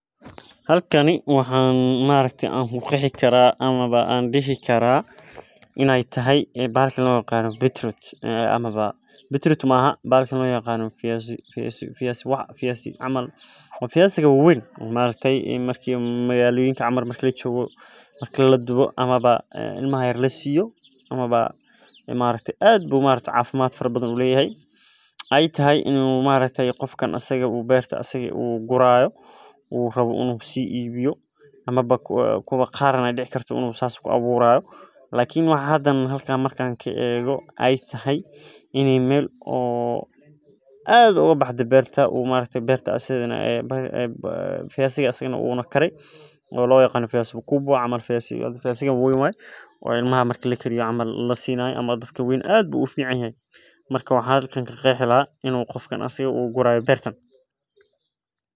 Halkani waxan ku qexi kara bahalka lo yirahdo viazi waa viaziga wawen maaragta marki magaloyinka camal lajogo aad ayu cafimaad uleyahay ama ba ee tahay beerta ayada in u asaga gurayo in ee taho meel berta aad oga baxdey amawa ee tahay viaziga wawen waye oo ilmaha lasiyo ama dadka wawen marku u karo waxan arki haya in u isaga guri hayo ninki iska lahay.